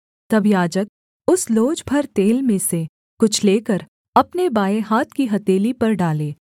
तब याजक उस लोज भर तेल में से कुछ लेकर अपने बाएँ हाथ की हथेली पर डाले